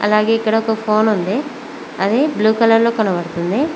అలాగే ఇక్కడ ఒక పోల్ ఉంది అది బ్లూ కలర్ లో కనబడుతుంది.